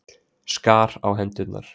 Skar á hendurnar.